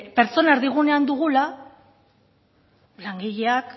pertsonak erdigunean dugula langileak